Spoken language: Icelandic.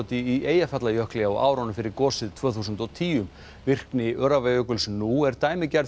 í Eyjafjallajökli á árunum fyrir gosið tvö þúsund og tíu virkni Öræfajökuls nú er dæmigerð